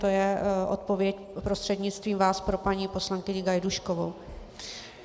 To je odpověď prostřednictvím vás pro paní poslankyni Gajdůškovou.